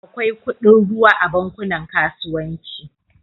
Akwai kudin ruwa a bankunan kasuwanci